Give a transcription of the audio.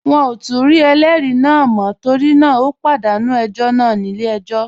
Wọn ò tún rí ẹlẹ́rìí náà mọ́ torí náà ó pàdánù ẹjọ́ náà nílé ẹjọ́